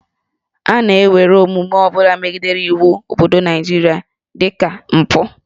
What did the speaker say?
A na-ewere omume ọ bụla megidere iwu obodo Naịjirịa dị ka mpụ